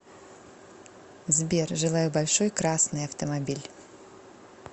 сбер желаю большой красный автомобиль